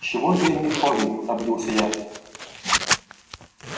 чего это я не в форме обиделся я